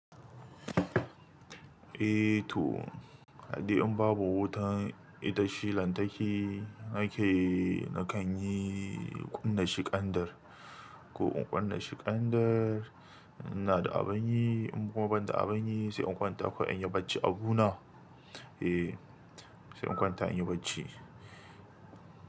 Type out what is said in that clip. Eh to, haɗe in babu wutar itace lantarki nake, nakan yi ƙunnar shi ƙandir. Ko in ƙunnar shi kandir in ina da abin yi, in kuma ban da abin yi, sai in kwanta kawai an yi bacci abu na, eh sai in kwanta an yi bacci.